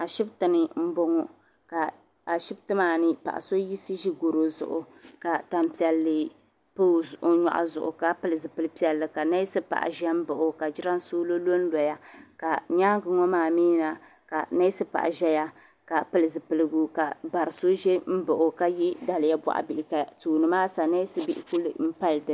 Ashibiti ni m-bɔŋɔ ka Ashibiti maa ni paɣa so yiɣisi ʒi garo zuɣu ka tampiɛlli pa o nyɔɣu zuɣu ka pili zipili piɛlli ka ka neesi paɣa ʒe m-baɣi o ka jiransoolo lonloya ka nyaaŋa ŋɔ maa mi na ka neesi paɣa ʒeya ka pili zipiligu ka bari so ʒe m-baɣi o ka ye daliya bɔɣu bihi ka tooni maa ha ka neesi bihi kuli pali dini.